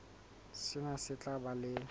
sena se tla ba le